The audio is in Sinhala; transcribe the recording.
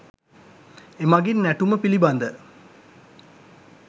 එමගින් නැටුම පිළිබඳ